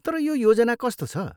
तर यो योजना कस्तो छ?